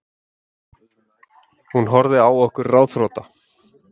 Hún horfði á okkur ráðþrota.